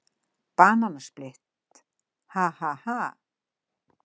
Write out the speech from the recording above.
Bananasplitt, ha, ha, ha.